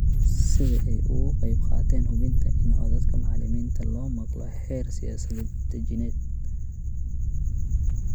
Sida ay uga qayb qaateen hubinta in codadka macalimiinta la maqlo heer siyaasad dejineed.